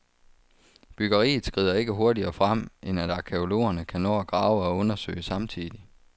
Byggeriet skrider ikke hurtigere frem, end at arkæologerne kan nå at grave og undersøge samtidig.